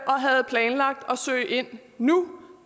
og havde planlagt at søge ind nu